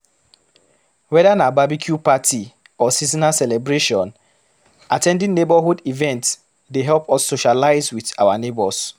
Weda na barbecue party or seasonal celebration, at ten ding neigbourhood events dey help us socialize with our neigbours